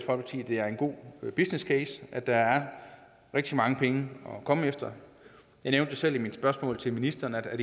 det er en god business case at der er rigtig mange penge at komme efter jeg nævnte selv i mit spørgsmål til ministeren at